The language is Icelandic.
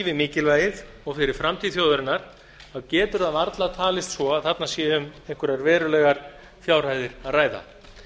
við mikilvægið og fyrir framtíð þjóðarinnar getur það varla talist svo að þarna sé um einhverjar verulegar fjárhæðir að ræða